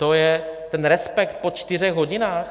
To je ten respekt po čtyřech hodinách?